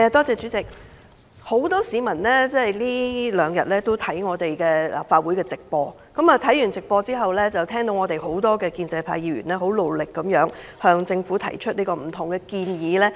主席，很多市民這兩天都在觀看立法會會議的直播。他們在直播中看到許多建制派議員努力向政府提出各種建議。